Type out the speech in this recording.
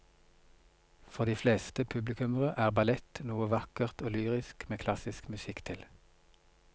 For de fleste publikummere er ballett noe vakkert og lyrisk med klassisk musikk til.